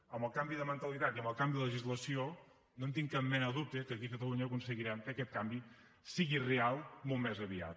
amb el canvi de mentalitat i amb el canvi de legislació no tinc cap mena de dubte que aquí a catalunya aconseguirem que aquest canvi sigui real molt més aviat